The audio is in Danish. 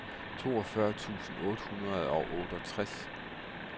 toogfyrre tusind otte hundrede og otteogtres